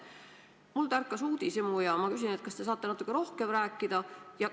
Minus tärkas uudishimu ja ma küsin, kas te saate sellest natuke lähemalt rääkida.